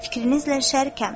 Fikrinizlə şərikəm.